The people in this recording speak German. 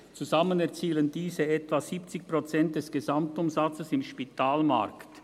Zusammen erzielen diese etwa 70 Prozent des Gesamtumsatzes im Spitalmarkt.